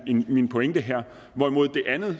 min pointe her hvorimod det andet